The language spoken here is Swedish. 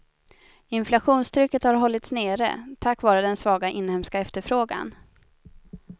Inflationstrycket har hållts nere, tack vare den svaga inhemska efterfrågan.